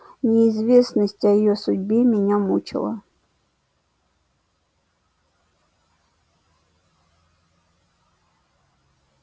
неизвестность о её судьбе меня мучила